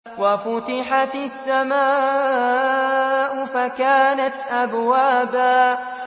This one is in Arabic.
وَفُتِحَتِ السَّمَاءُ فَكَانَتْ أَبْوَابًا